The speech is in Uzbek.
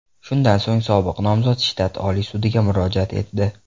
Shundan so‘ng sobiq nomzod shtat oliy sudiga murojaat etdi.